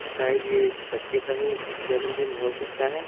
शायद ये इस बच्चे का ही जन्मदिन हो सकता है।